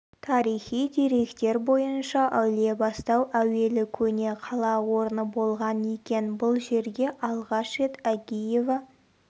тарихи деректер бойынша әулиебастау әуелі көне қала орны болған екен бұл жерге алғаш рет агеева